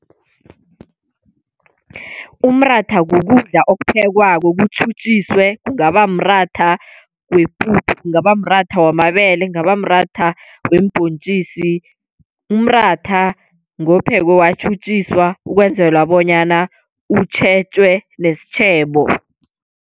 Umratha kukudla okuphekwako kutjhutjhiswe kungaba mratha wepuphu, kungaba mratha wamabele, kungaba mratha weembhontjisi, umratha ngophekwe watjhutjiswa ukwenzela bonyana utjhetjwe nesitjhebo.